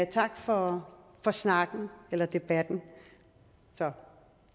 tak for snakken eller debatten